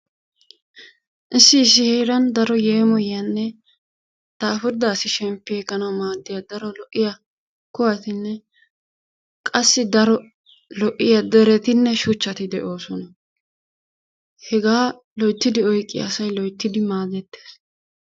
Issi issi heeran daro yeemoyiyanne lo"iyanne daafurida asi shemppi ekkanawu kuwatinne qassi keehi lo"iya deretinne shuchchati de'oosona. Hegaa loyttidi oyqqiya asay loyttidi maadettees.